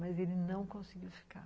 Mas ele não conseguiu ficar.